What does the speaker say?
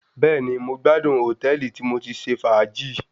Bẹ́ẹ̀ni, mo gbádùn hòtẹ́ẹ̀lì tí mo ti ṣe fàájì.